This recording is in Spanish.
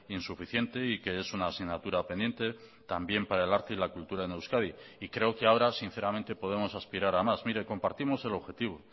insuficiente y que es una asignatura pendiente también para el arte y la cultura en euskadi y creo que ahora sinceramente podemos aspirar a más mire compartimos el objetivo